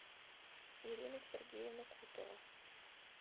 ирина сергеевна кутова